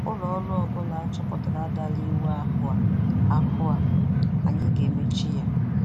Ụlọọrụ ọbụla a chọpụtara dara iwu ahụ a, ahụ a, anyị ga-emechi ya.